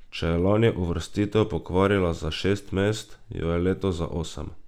Če je lani uvrstitev pokvarila za šest mest, jo je letos za osem.